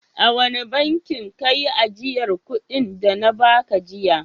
A wane bankin ka yi ajiyar kuɗin da na ba ka jiya?